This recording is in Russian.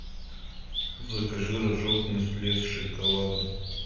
закажи рожок нестле с шоколадом